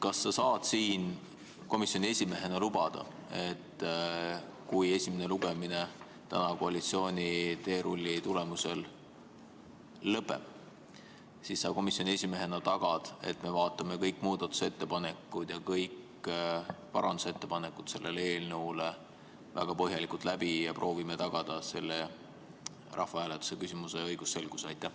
Kas sa saad siin komisjoni esimehena lubada, et kui esimene lugemine täna koalitsiooni teerulli tulemusel lõpeb, siis sa komisjoni esimehena tagad, et me vaatame kõik selle eelnõu muudatusettepanekud ja kõik parandusettepanekud väga põhjalikult läbi ja proovime tagada selle rahvahääletuse küsimuse õigusselguse?